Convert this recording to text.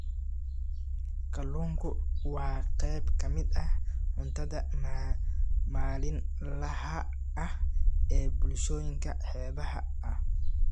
Kalluunku waa qayb ka mid ah cuntada maalinlaha ah ee bulshooyinka xeebaha ah.